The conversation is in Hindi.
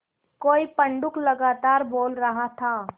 कोई पंडूक लगातार बोल रहा था